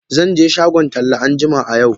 Zan je shagon tela anjima a yau.